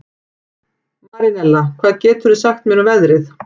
Marinella, hvað geturðu sagt mér um veðrið?